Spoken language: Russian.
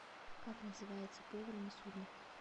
как называется повар на судне